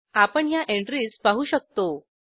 आपण ह्या एंट्रीज पाहू शकतो